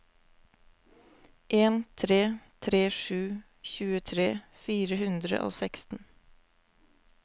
en tre tre sju tjuetre fire hundre og seksten